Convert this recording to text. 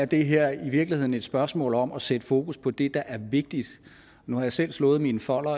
det her er i virkeligheden et spørgsmål om at sætte fokus på det der er vigtigt nu har jeg selv slået mine folder